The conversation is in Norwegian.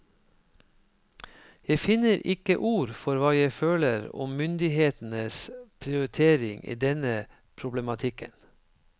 Jeg finner ikke ord for hva jeg føler om myndighetenes prioritering i denne problematikken.